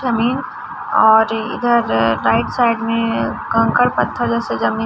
जमीन और इधर राइट साइड में कंकड़ पत्थर जैसे जमीन--